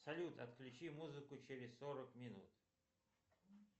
салют отключи музыку через сорок минут